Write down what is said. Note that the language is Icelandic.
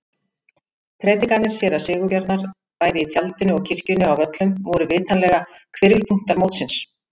Prédikanir séra Sigurbjarnar bæði í tjaldinu og kirkjunni á Völlum voru vitanlega hvirfilpunktar mótsins.